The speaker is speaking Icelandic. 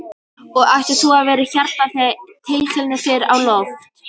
Og ætlar þú að vera hérna þegar titilinn fer á loft?